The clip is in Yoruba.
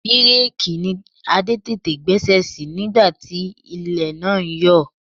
Bireeki ni Adé tètè gbẹ́sẹ̀ sí nígbà tí ilẹ̀ náà yọ ọ́.